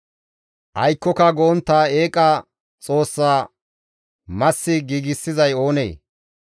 Aykkoka go7ontta eeqa xoossa massi giigsizay oonee?